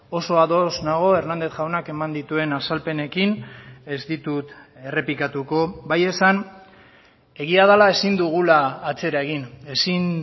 oso ados nago hernández jaunak eman dituen azalpenekin ez ditut errepikatuko bai esan egia dela ezin dugula atzera egin ezin